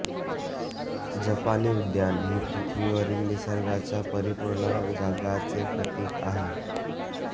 जपानी उद्यान ही पृथ्वीवरील निसर्गाच्या परिपूर्ण जगाचे प्रतीक आहे